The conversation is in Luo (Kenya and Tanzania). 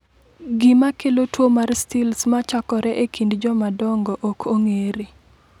Gima kelo tuo mar Stills ma chakore e kind jomadongo ok ong’ere.